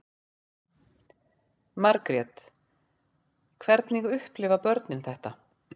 Margrét: Hvernig upplifa börnin þetta?